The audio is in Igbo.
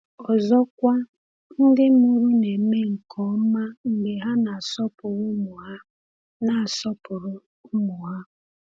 Ọzọkwa, ndị mụrụ na-eme nke ọma mgbe ha na-asọpụrụ ụmụ ha na-asọpụrụ ụmụ ha.